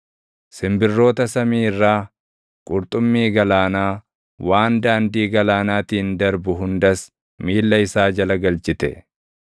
simbirroota samii irraa, qurxummii galaanaa, waan daandii galaanaatiin darbu hundas miilla isaa jala galchite.